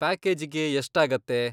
ಪ್ಯಾಕೇಜಿಗೆ ಎಷ್ಟಾಗತ್ತೆ?